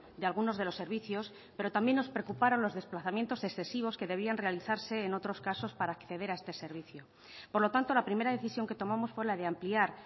de algunos de los servicios pero también nos preocuparon los desplazamientos excesivos que debían realizarse en otros casos para acceder a este servicio por lo tanto la primera decisión que tomamos fue la de ampliar